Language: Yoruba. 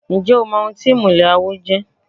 Ǹjẹ́ o mọ ohun tí ìmùlẹ̀ àwo jẹ́?